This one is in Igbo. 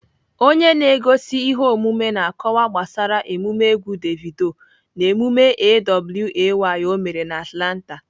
Onye na-egosi ihe omume na- akọwa gbasara emume egwu Davido na emume A.W.A.Y ọ mere na Atlanta.